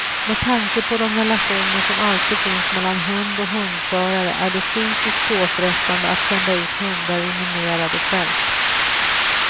Med tanke på de relationer som alltid finns mellan hund och hundförare är det psykiskt påfrestande att sända ut hundar i minerade fält.